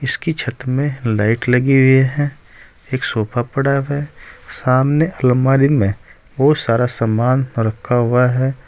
इसकी छत में लाइट लगी हुई है एक सोफा पड़ा हुआ है सामने अलमारी में बहुत सारा सामान रखा हुआ है।